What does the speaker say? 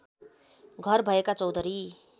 घर भएका चौधरी